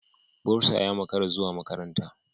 Bursar ya makara zuwa makaranta.